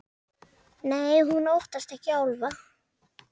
Nei, hún óttast ekki álfa.